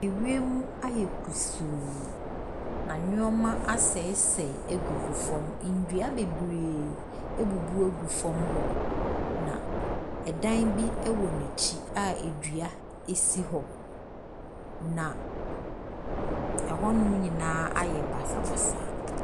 Ewiem ayɛ kusuu. Na nnoɔma asɛesɛe agugu fam. Nnua bebree abubu gu fam hɔ. Na ɛdan bi ɛwɔ n'akyi a edua esi hɔ. Na ɛhonom nyinaa ayɛ basabasa.